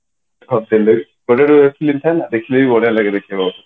ଗୋଟେ ଗୋଟେ ଦେଖିଲେ ବି ବଢିଆ ଲାଗେ ଦେଖିବାକୁ